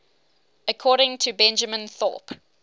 according to benjamin thorpe